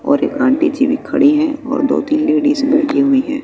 और एक आंटी जी भी खड़ी हैं और दो तीन लेडिस बैठी हुई हैं।